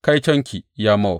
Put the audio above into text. Kaitonki, ya Mowab!